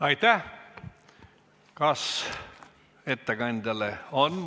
Aitäh!